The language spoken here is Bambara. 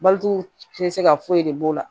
Baliku tɛ se ka foyi de b'o la